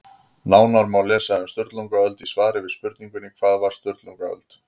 Nánar má lesa um Sturlungaöld í svari við spurningunni Hvað var Sturlungaöld?